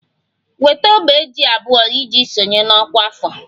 Weta ogbe ji abụọ iji sonye na ọkwa afọ!